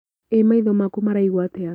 ĩ maitho maku maraigua atĩa?